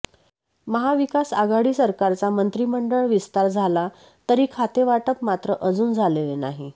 महा विकास आघाडी सरकारचा मंत्रिमंडळ विस्तार झाला तरी खातेवाटप मात्र अजून झालेले नाही